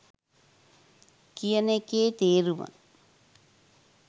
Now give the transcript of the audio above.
කියන එකේ තේරුම.